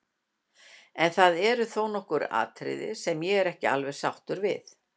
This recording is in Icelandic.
En það eru þó nokkur atriði sem ég er ekki alveg sáttur við.